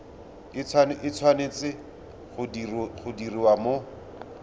e tshwanetse go diriwa mo